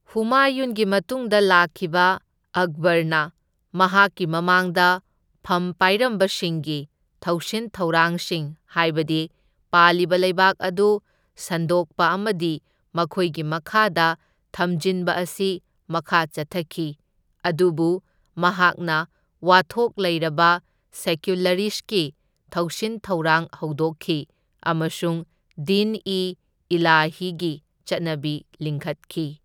ꯍꯨꯃꯥꯌꯨꯟꯒꯤ ꯃꯇꯨꯡꯗ ꯂꯥꯛꯈꯤꯕ ꯑꯛꯕꯔꯅ ꯃꯍꯥꯛꯀꯤ ꯃꯃꯥꯡꯗ ꯐꯝ ꯄꯥꯏꯔꯃꯕꯁꯤꯡꯒꯤ ꯊꯧꯁꯤꯟ ꯊꯧꯔꯥꯡꯁꯤꯡ ꯍꯥꯏꯕꯗꯤ ꯄꯥꯜꯂꯤꯕ ꯂꯩꯕꯥꯛ ꯑꯗꯨ ꯁꯟꯗꯣꯛꯄ ꯑꯃꯗꯤ ꯃꯈꯣꯏꯒꯤ ꯃꯈꯥꯗ ꯊꯝꯖꯤꯟꯕ ꯑꯁꯤ ꯃꯈꯥ ꯆꯠꯊꯈꯤ, ꯑꯗꯨꯕꯨ ꯃꯍꯥꯛꯅ ꯋꯥꯊꯣꯛ ꯂꯩꯔꯕ ꯁꯦꯀ꯭ꯌꯨꯂꯔꯤꯁꯠꯀꯤ ꯊꯧꯁꯤꯟ ꯊꯧꯔꯥꯡ ꯍꯧꯗꯣꯛꯈꯤ ꯑꯃꯁꯨꯡ ꯗꯤꯟ ꯏ ꯏꯂꯥꯍꯤꯒꯤ ꯆꯠꯅꯕꯤ ꯂꯤꯡꯈꯠꯈꯤ꯫